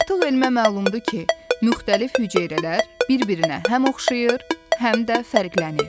Artıq elmə məlumdur ki, müxtəlif hüceyrələr bir-birinə həm oxşayır, həm də fərqlənir.